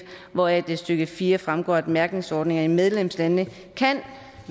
hvoraf det i stykke fire fremgår at mærkningsordninger i medlemslandene kan